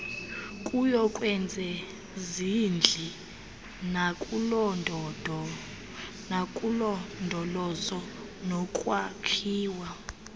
kuyokwezezindli nakulondolozo nokwakhiwa